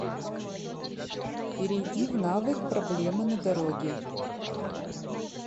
перейди в навык проблема на дороге